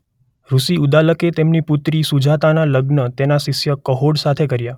ઋષિ ઉદ્દાલકે તેમની પુત્રી સુજાતાનાં લગ્ન તેમના શિષ્ય કહોડ સાથે કર્યા.